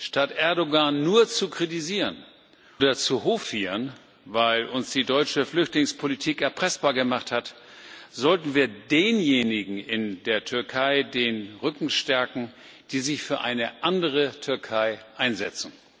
Statt Erdoğan nur zu kritisieren oder zu hofieren, weil uns die deutsche Flüchtlingspolitik erpressbar gemacht hat, sollten wir denjenigen in der Türkei den Rücken stärken, die sich für eine andere Türkei einsetzen.